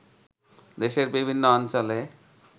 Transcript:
দেশের বিভিন্ন অঞ্চলে